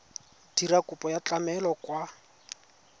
dira kopo ya tlamelo kwa